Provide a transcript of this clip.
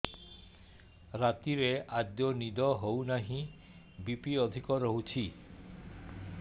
ରାତିରେ ଆଦୌ ନିଦ ହେଉ ନାହିଁ ବି.ପି ଅଧିକ ରହୁଛି